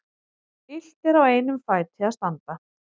Illt er á einum fæti að standa.